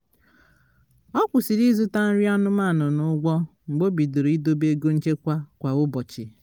ọ kwụsịrị ịzụta nri anụmanụ n'ụgwọ mgbe o bidoro ịdobe ego nchekwa kwa ụbochị